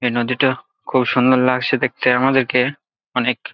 এই নদীটো খুব সুন্দর লাগছে দেখতে আমাদেরকে অনেক।